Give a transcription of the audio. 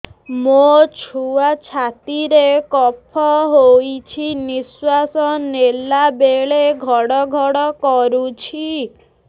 ମୋ ଛୁଆ ଛାତି ରେ କଫ ହୋଇଛି ନିଶ୍ୱାସ ନେଲା ବେଳେ ଘଡ ଘଡ କରୁଛି